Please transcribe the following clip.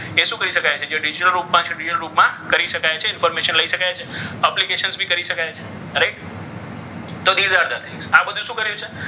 એ શું કરી શકાય છે? કે digital group માં છે રૂપમાં છે એ ડિજિટલ રૂપમાં કરી શકાય છે. information લઈ શકાય છે. application બી કરી શકાય છે. correct તો આ બધું શું કર્યું છે?